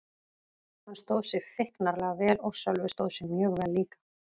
Hann stóð sig feiknarlega vel og Sölvi stóð sig mjög vel líka.